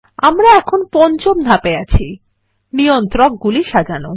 আমরা এখন পঞ্চম ধাপে আছি160 নিয়ন্ত্রক গুলি সাজানো